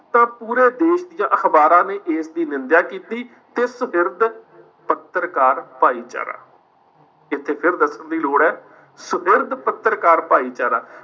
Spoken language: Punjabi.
ਤਾਂ ਪੂਰੇ ਦੇਸ਼ ਦੀਆਂ ਅਖਬਾਰਾਂ ਨੇ ਇਸ ਦੀ ਨਿੰਦਿਆ ਕੀਤੀ ਤੇ ਸੁਹਿਰਦ ਪੱਤਰਕਾਰ ਭਾਈਚਾਰਾ, ਇੱਥੇ ਫਿਰ ਦੱਸਣ ਦੀ ਲੋੜ ਹੈ ਸੁਹਿਰਦ ਪੱਤਰਕਾਰ ਭਾਈਚਾਰਾ